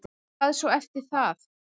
Hvað svo eftir það?